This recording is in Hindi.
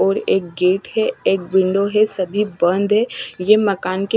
और एक गेट है एक विंडो है सभी बंद है। ये मकान के --